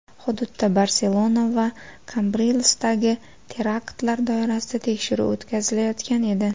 Hududda Barselona va Kambrilsdagi teraktlar doirasida tekshiruv o‘tkazilayotgan edi.